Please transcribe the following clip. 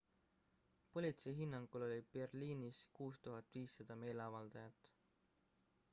politsei hinnangul oli berliinis 6500 meeleavaldajat